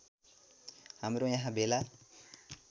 हाम्रो यहाँ भेला